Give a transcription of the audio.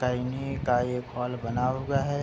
तैनिय का एक हॉल बना हुआ है।